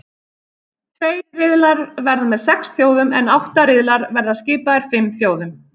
Tveir riðlar verða með sex þjóðum en átta riðlar verða skipaðir fimm þjóðum.